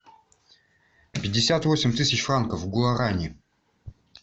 пятьдесят восемь тысяч франков в гуарани